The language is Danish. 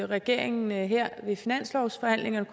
regeringen her ved finanslovsforhandlingerne